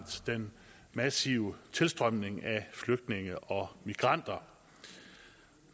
den massive tilstrømning af flygtninge og migranter